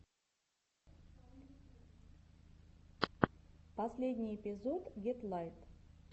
последний эпизод гетлайт